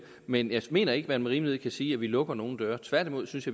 men jeg mener ikke at man med rimelighed kan sige at vi lukker nogen døre tværtimod synes